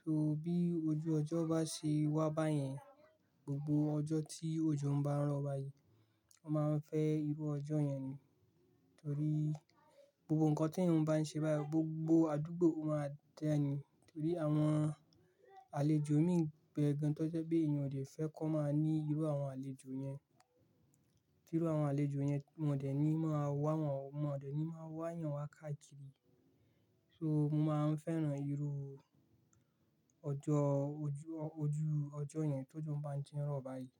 So bí ojú ọjọ́ bá ṣe wá báyẹn, gbogbo ọjọ́ tí òjò bá ń rọ̀ báyìí, mo máa ń fẹ́ irú ọjọ́ yẹn ni. Torí gbogbo nǹkan tí èèyàn bá ń ṣe báyìí gbogbo àdúgbò ó máa dá ni torí àwọn àlejò míi ń be gan-an tó jẹ́ pé èèyàn ò dẹ̀ fẹ́ kọ́ máa ní irú àwọn àlejò yẹn. Tí irú àwọn àlejò yẹn, wọn ò dẹ̀ ní máa wá wọ̀n o, wọn ò dẹ̀ ní máa wá yàn wá káàkiri. So mo máa ń fẹ́ràn irú ọjọ́ ojú, ojú ọjọ́ yẹn tójò bá ń tí ń rọ̀ báyìí.